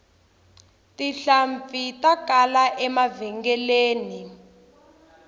tihlampfi ta kala emavhengeleni